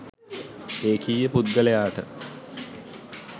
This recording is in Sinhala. ඒකීය පුද්ගලයාට